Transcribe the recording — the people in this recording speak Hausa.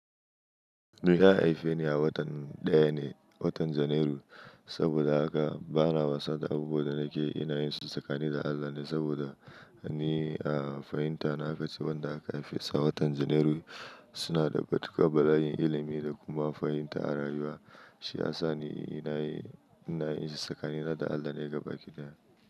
Ni na haife ni a watan ɗaya ne, watan Janairu. Saboda haka bana wasa da abubuwan da nake ina yin su tsakani da Allah ne saboda ni a fahimta na aka ce, wanda aka haife sa watan Janairu suna da ga duka bala'yin ilimi da kuma fahimta a rayuwa. Shi ya sa ni ina yin ina yin sakani na da Allah ne gaba ɗaya.